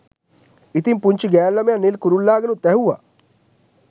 ඉතිං පුංචි ගෑණු ළමයා නිල් කුරුල්ලාගෙනුත් ඇහුවා